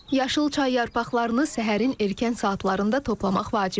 Yaşıl çay yarpaqlarını səhərin erkən saatlarında toplamaq vacibdir.